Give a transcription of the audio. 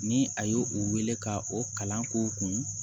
Ni a ye u wele ka o kalan k'u kun